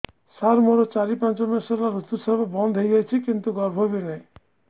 ସାର ମୋର ଚାରି ପାଞ୍ଚ ମାସ ହେଲା ଋତୁସ୍ରାବ ବନ୍ଦ ହେଇଯାଇଛି କିନ୍ତୁ ଗର୍ଭ ବି ନାହିଁ